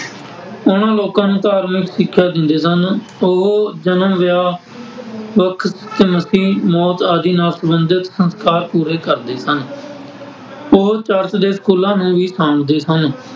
ਉਨ੍ਹਾ ਲੋਕਾਂ ਨੂੰ ਧਾਰਮਿਕ ਸਿੱਖਿਆ ਦਿੰਦੇ ਸਨ । ਉਹ ਜਨਮ, ਵਿਆਹ, ਬਪਤਿਸਮਾ, ਮੌਤ ਆਦਿ ਨਾਲ ਸੰਬੰਧਿਤ ਸੰਸਕਾਰ ਪੂਰੇ ਕਰਦੇ ਸਨ । ਉਹ ਚਰਚ ਦੇ ਸਕੂਲਾਂ ਨੂੰ ਵੀ ਸਾਂਭਦੇ ਸਨ ।